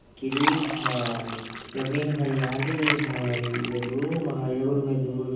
क्रिच हय ज़मीन हरयाली हय ये रूम हय एगो रूम हय दूगो रूम ।